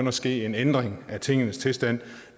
at ske en ændring af tingenes tilstand